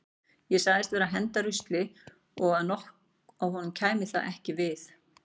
Ég sagðist vera að henda rusli og að honum kæmi það ekki við.